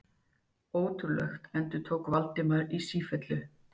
Ótrúlegt endurtók Valdimar í sífellu.